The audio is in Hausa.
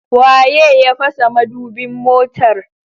Waye ya fasa madubin motar?